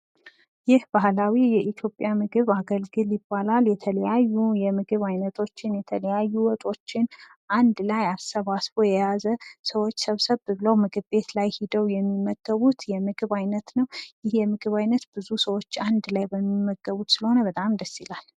ይህ ባህላዊ የኢትዮጵያ ምግብ አገልግል ይባላል። የተለያዩ የምግብ አይነቶችን ፣ የተለያዩ ወጦችን አንድ ላይ አሰባስቦ የያዘ ፤ ሰዎች ሰብሰብ ብለው ምግብ ቤት ላይ ሂደው የሚመገቡት የምግብ አይነት ነው። ይህ ምግብ ሰዎች አንድ ላይ ተሰባስበው የሚመገቡት ስለሆነ በጣም ደስ ይላል።